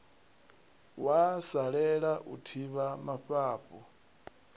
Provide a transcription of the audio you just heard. wa salela u thivha mafhafhu